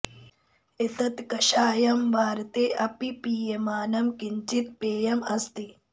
एतत् कषायं भारते अपि पीयमानं किञ्चित् पेयम् अस्ति